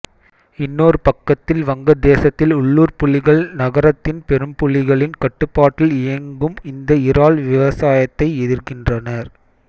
இன்னொரு பக்கத்தில் வங்கதேசத்தில் உள்ளூர் புள்ளிகள் நகரத்தின் பெரும்புள்ளிகளின் கட்டுப்பாட்டில் இயங்கும் இந்த இறால் விவசாயத்தை எதிர்க்கின்றனர்